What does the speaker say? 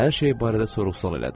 Hər şeyi barədə sorğu-sual elədi.